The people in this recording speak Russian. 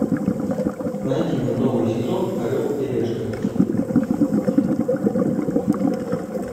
найди мне новый сезон орел и решка